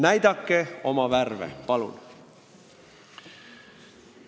Näidake oma värve, palun!